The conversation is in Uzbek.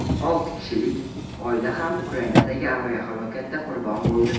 Olti kishilik oila ham Ukrainadagi aviahalokatda qurbon bo‘ldi.